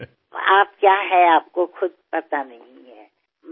तुम्ही काय आहात याची तुम्हाला स्वतःला कल्पना नाही